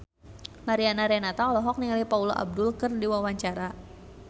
Mariana Renata olohok ningali Paula Abdul keur diwawancara